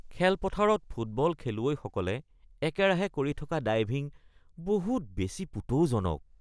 খেলপথাৰত ফুটবল খেলুৱৈসকলে একেৰাহে কৰি থকা ডাইভিং বহুত বেছি পুতৌজনক